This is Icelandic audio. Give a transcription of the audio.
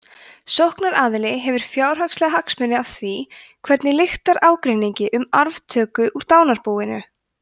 sóknaraðili hefur fjárhagslega hagsmuni af því hvernig lyktar ágreiningi um arftöku úr dánarbúinu